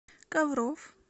ковров